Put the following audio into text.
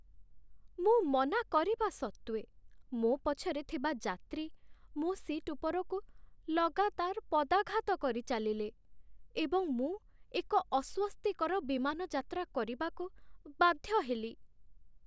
ମୁଁ ମନା କରିବା ସତ୍ତ୍ୱେ, ମୋ ପଛରେ ଥିବା ଯାତ୍ରୀ, ମୋ ସିଟ ଉପରକୁ ଲଗାତାର ପଦାଘାତ କରିଚାଲିଲେ, ଏବଂ ମୁଁ ଏକ ଅସ୍ଵସ୍ତିକର ବିମାନ ଯାତ୍ରା କରିବାକୁ ବାଧ୍ୟ ହେଲି।